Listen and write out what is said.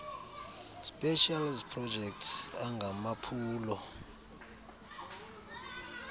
specials projects angamaphulo